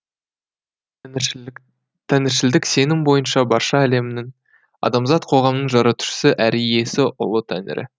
тәңіршілдік тәңіршілдік сенім бойынша барша әлемнің адамзат қоғамының жаратушысы әрі иесі ұлы тәңірі